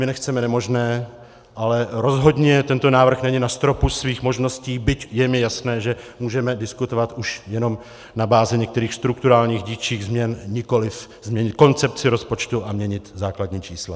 My nechceme nemožné, ale rozhodně tento návrh není na stropu svých možností, byť je mi jasné, že můžeme diskutovat už jenom na bázi některých strukturálních dílčích změn, nikoliv změnit koncepci rozpočtu a měnit základní čísla.